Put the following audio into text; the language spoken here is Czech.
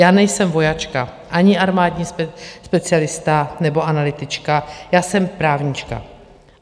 Já nejsem vojačka ani armádní specialista nebo analytička, já jsem právnička.